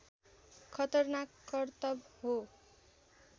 खतरनाक करतब हो